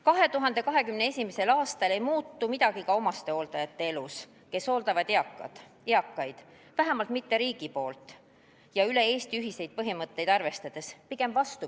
2021. aastal ei muutu midagi ka nende omastehooldajate elus, kes hooldavad eakaid – vähemalt riik ei muuda üle Eesti ühiseid põhimõtteid arvestades mitte midagi.